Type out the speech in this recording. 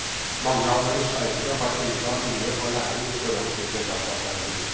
Mange av våre seilere har enda mye å lære i forhold til regattaseiling.